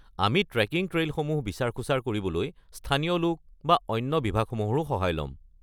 আমি ট্ৰেকিং ট্ৰেইলসমূহত বিচাৰ-খোঁচাৰ কৰিবলৈ স্থানীয় লোক আৰু অইন বিভাগসমূহৰো সহায় লম।